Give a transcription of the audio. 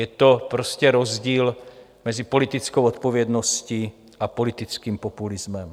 Je to prostě rozdíl mezi politickou odpovědností a politickým populismem.